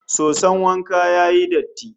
Soson wanka ya yi datti